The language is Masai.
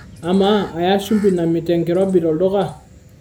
amaa aya shumbi namit enkirobi tolduka